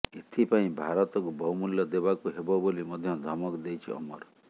ଏଥିପାଇଁ ଭାରତକୁ ବହୁମୂଲ୍ୟ ଦେବାକୁ ହେବ ବୋଲି ମଧ୍ୟ ଧମକ ଦେଇଛି ଅମର